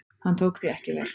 Hann tók því ekki vel.